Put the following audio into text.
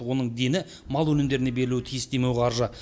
оның дені мал өнімдеріне берілуі тиіс демеуқаржы